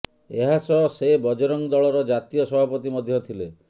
ଏହାସହ ସେ ବଜରଙ୍ଗ ଦଳର ଜାତୀୟ ସଭାପତି ମଧ୍ୟ ଥିଲେ